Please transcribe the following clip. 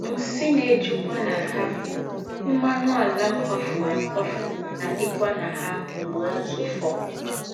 ““ Nsì́ ná-èjúkwá na ha, m̀mánù àlà kwáfùrù àkwáfù ná-àdíkwá na ha m̀gbè ózụ̀fọ́. ”